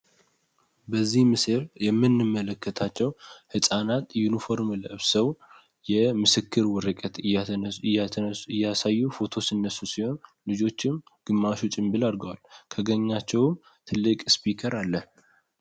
በዚህ ምስል የምንመለከታቸው ሕፃናት ዩኒፍርም ለብሰው የምስክር ወረቀት እያሳዩ ፎቶ ሲነሱ ሲሆን ልጆችም ግማሹ ጭንብል አርገዋል። ከገኛቸው ትልቅ ስፒከር አለ።